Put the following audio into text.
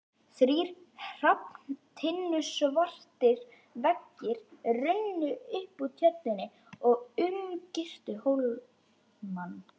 Þrír hrafntinnusvartir veggir runnu upp úr Tjörninni og umgirtu hólmann.